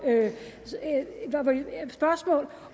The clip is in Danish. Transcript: spørgsmål